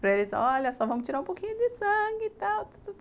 Para eles, olha, só vamos tirar um pouquinho de sangue e tal.